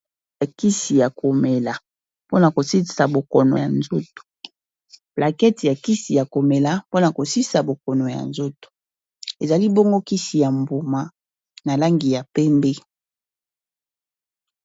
Plaquete ya kisi ya komela mpona kosisa bokono ya nzoto, ezali bongo kisi ya mbuma na langi ya pembe.